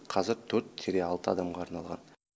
қазір төрт или алты адамға арналған